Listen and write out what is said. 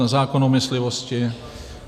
na zákon o myslivosti;